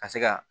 Ka se ka